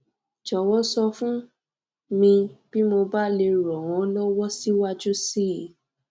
jọwọ sọ fún mi bí mo bá lè ran ọ lọwọ síwájú síi